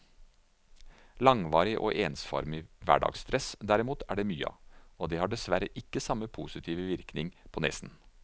Langvarig og ensformig hverdagstress, derimot, er det mye av, og det har dessverre ikke samme positive virkning på nesen.